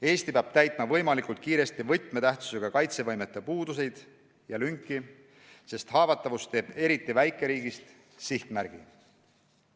Eesti peab täitma võimalikult kiiresti võtmetähtsusega kaitsevõimete puuduseid ja lünki, sest haavatavus teeb eriti väikeriigist sihtmärgi.